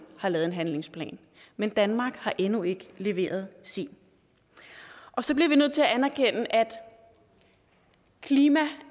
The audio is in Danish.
har lavet en handlingsplan men danmark har endnu ikke leveret sin og så bliver vi nødt til at anerkende at klima